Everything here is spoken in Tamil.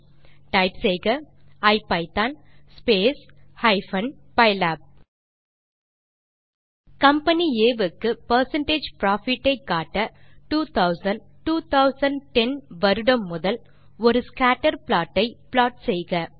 ஆகவே டைப் செய்க ஐபிதான் ஹைப்பன் பைலாப் கம்பனி ஆ க்கு பெர்சென்டேஜ் புரோஃபிட் ஐ காட்ட 2000 2010 வருடம் முதல் ஒரு ஸ்கேட்டர் ப்ளாட் ஐ ப்ளாட் செய்க